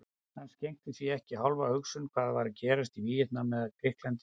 Hann skenkti því ekki hálfa hugsun hvað var að gerast í Víetnam eða Grikklandi eða